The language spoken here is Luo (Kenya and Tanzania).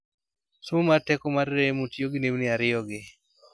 somo mar teko mar remo tiyo gi nembni ariyo gi